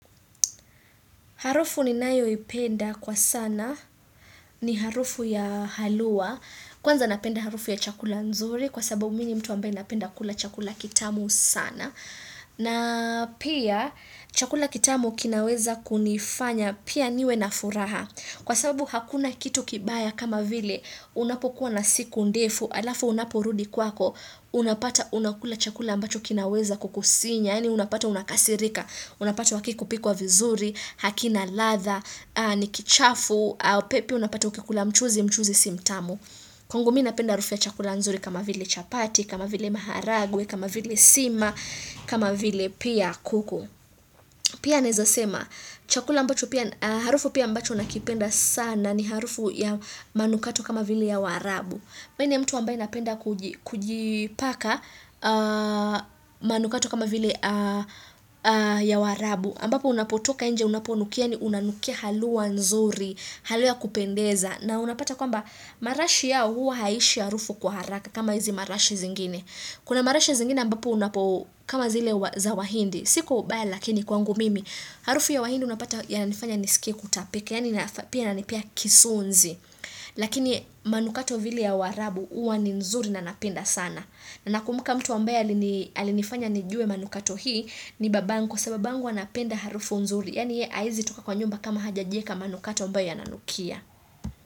Harufu ni nayo ipenda kwa sana, ni harufu ya haluwa kwanza napenda harufu ya chakula nzuri, kwa sababu mii ni mtu ambaye napenda kula chakula kitamu sana, na pia chakula kitamu kinaweza kunifanya, pia niwe na furaha, kwa sababu hakuna kitu kibaya kama vile, unapokuwa na siku ndefu, alafu unaporudi kwako, unapata unakula chakula ambacho kinaweza kukusinya, Yaani unapata unakasirika, unapata hakiku pikwa vizuri, hakina ladha, ni kichafu, pia unapata ukikula mchuzi mchuzi si mtamu. Kwangu mii napenda harufu ya chakula nzuri kama vile chapati, kama vile maharagwe, kama vile sima, kama vile pia kuku. Pia naeza sema, chakula ambacho pia, harufu pia ambacho nakipenda sana ni harufu ya manukato kama vile ya waarabu. Mii ni mtu ambaye napenda kujipaka manukato kama vile ya waarabu. aMbapo unapotoka inje unaponukia unanukia haluwa nzuri, haluwa ya kupendeza. Na unapata kwamba marashi yao huwa haishi harufu kwa haraka kama hizi marashi zingine. Kuna marashi zingine ambapo unapo kama zile za wahindi. Si kwa ubaya lakini kwangu mimi. Harufu ya wahindi unapata yananifanya nisikie kutapika. Yaani ina ni pia kisunzi. Lakini manukato vile ya waarabu huwa ni nzuri na napenda sana na nakumuka mtu ambaye alinifanya nijue manukato hii ni babangu kwa sababu babangu anapenda harufu nzuri Yaani ye haezi toka kwa nyumba kama hajajieka manukato ambayo yana nanukia.